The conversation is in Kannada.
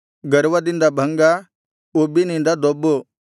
ಗರ್ವದಿಂದ ಭಂಗ ಉಬ್ಬಿನಿಂದ ದೊಬ್ಬು